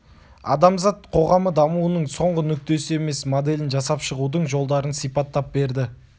адамзат қоғамы дамуының соңғы нүктесі емес моделін жасап шығудың жолдарын сипаттап берді